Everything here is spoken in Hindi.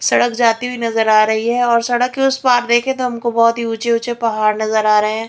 सड़क जाती हुई नजर आ रही है और सड़क के उस पार देखे तो हमको बहुत ही ऊँचे-ऊँचे पहाड़ नजर आ रहे हैं।